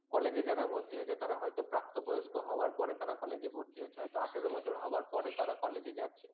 college এ যারা ভর্তি হয়েছে তারা হয়তো প্রাপ্তবয়স্ক হওয়ার পরে তারা college এ ভর্তি হচ্ছে হয়তো আটারো বছর হবার পরে তারা college এ যাচ্ছে